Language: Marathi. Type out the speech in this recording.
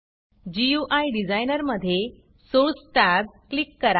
गुई डिझाइनर मधे Sourceसोर्स टॅब क्लिक करा